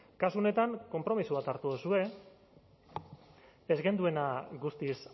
kasu honetan konpromiso bat hartu duzue ez genuena guztiz